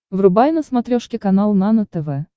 врубай на смотрешке канал нано тв